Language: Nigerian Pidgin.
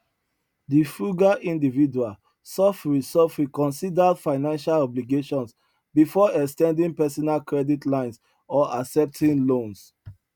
di frugal individual sofri sofri considered financial obligations before ex ten ding personal credit lines or accepting loans